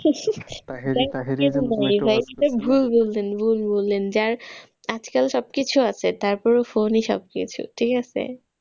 ভুল বললেন ভুল বললেন, যার আজকাল সবকিছু আছে তারপরেও phone ই সবকিছু ঠিক আছে।